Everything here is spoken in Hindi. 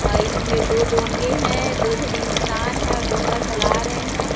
और इस में दो डोंगे है दो झने इंसान है और डोंगा चला रहे है।